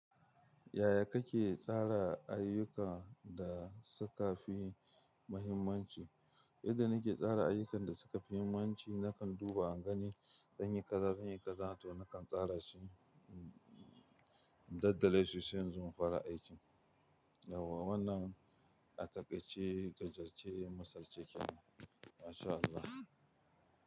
Yaya kake tsara ayyuka da suka fi muhimmanci? Idan nake tsara ayyukan da suka fi muhimmanci, nakan duba ingane, danni ƙazafenni ƙazafanni, to nakan tsara shi. Daddale su shiga zuwa fara aiki. Yawwqa wannan a takaice, gajarce, misal ce kenan. MashAllah.